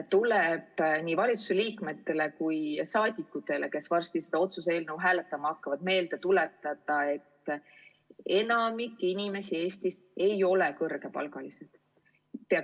Tuleb nii valitsuse liikmetele kui ka rahvasaadikutele, kes varsti seda otsuse eelnõu hääletama hakkavad, meelde tuletada, et enamik inimesi Eestis ei ole kõrgepalgalised.